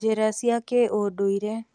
Njĩracia kĩũndũire